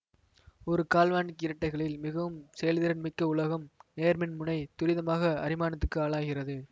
ஒரு கால்வனிக் இரட்டைகளில் மிகவும் செயல்திறன் மிக்க உலோகம் நேர்மின் முனை துரிதமாக அரிமானத்துக்கு ஆளாகிறது